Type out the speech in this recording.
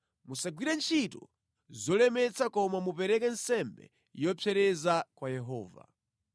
Musagwire ntchito zolemetsa koma mupereke nsembe yopsereza kwa Yehova.’ ”